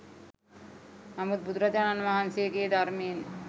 නමුත් බුදුරජාණන් වහන්සේගේ ධර්මයෙන්